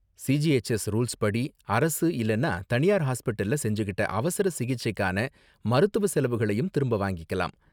CGHS ரூல்ஸ்படி, அரசு இல்லன்னா தனியார் ஹாஸ்பிடல்ல செஞ்சுக்கிட்ட அவசர சிகிச்சைக்கான மருத்துவ செலவுகளையும் திரும்ப வாங்கிக்கலாம்.